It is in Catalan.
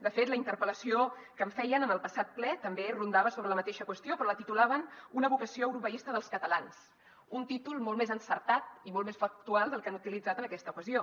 de fet la interpel·lació que em feien en el passat ple també rondava sobre la mateixa qüestió però la titulaven una vocació europeista dels catalans un títol molt més encertat i molt més factual del que han utilitzat en aquesta ocasió